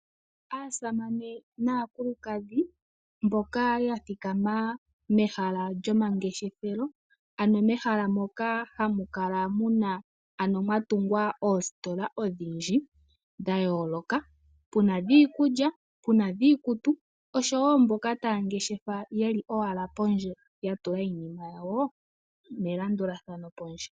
Aasamane naakulukadhi mboka yathikama mehala lyomalandithilo mehala moka mwatungwa ositola odhindji dha yoloka puna dhiikulya puna dhiikutu osho woo mboka taya landitha yeli pondje yatula iinima yawo melandulathano pondje .